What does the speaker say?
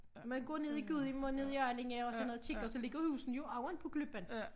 Man går ned i Gudhjem og ned i Allinge og sådan noget tit og så ligger husene jo oven på klippen